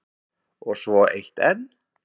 Og svo eitt enn.